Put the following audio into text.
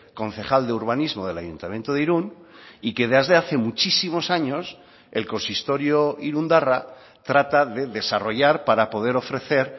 concejal de urbanismo del ayuntamiento de irun y que desde hace muchísimos años el consistorio irundarra trata de desarrollar para poder ofrecer